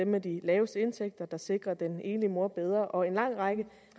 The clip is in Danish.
med de laveste indtægter der sikrer den enlige mor bedre og en lang række